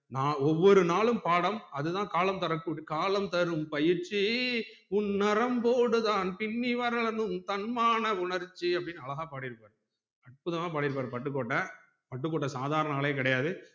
நா ஒவ்வொரு நாலும் பாடம் அதுதான் காலம் தர கூடிய காலம் தரும் பயிற்சி உன் நரம்போடு தான் பின்னி வளரனும் தன்மானம் உணர்ச்சி அப்டின்னு அழகா பாடிருப்பாரு அற்புதமா பாடிருப்பாரு பட்டுக்கோட்டை பட்டுக்கோட்டை சாதாரண ஆளே கிடையாது